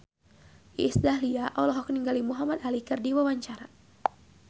Iis Dahlia olohok ningali Muhamad Ali keur diwawancara